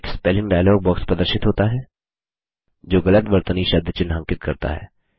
check spelling dialog box प्रदर्शित होता है जो गलत वर्तनी शब्द चिन्हांकित करता है